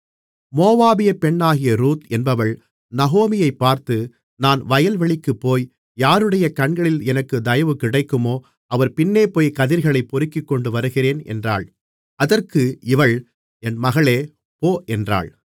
மோவாபிய பெண்ணாகிய ரூத் என்பவள் நகோமியைப் பார்த்து நான் வயல்வெளிக்குப் போய் யாருடைய கண்களில் எனக்குத் தயவு கிடைக்குமோ அவர் பின்னே போய் கதிர்களைப் பொறுக்கிக்கொண்டு வருகிறேன் என்றாள் அதற்கு இவள் என் மகளே போ என்றாள்